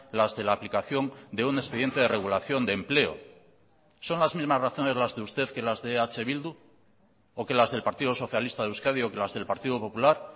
las de la aplicación de un expediente de regulación de empleo son las mismas razones las de usted que las de eh bildu o que las del partido socialista de euskadi o que las del partido popular